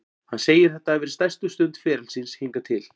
Hann segir þetta hafa verið stærstu stund ferils síns hingað til.